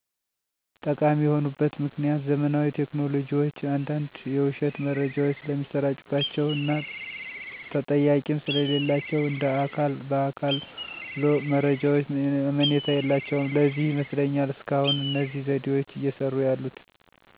ጠቃሚ የሆኑበት ምክኒያት ዘመናዊ ቴክኖሎጂዎች አንዳንድ የዉሸት መረጃዎች ስለሚሰራጭባቸዉ እና ተጠያቂም ስለሌላቸዉ እንደ አካል በአካሎ መረጃዎች አመኔታ የላቸዉም ለዚህ ይመስለኛል እስካሁን እነዚህ ዘዴዎች እየሰሩ ያሉት።